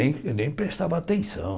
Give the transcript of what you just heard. Nem nem prestava atenção.